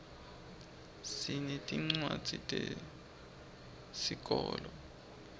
sinetincwadzi tesikolo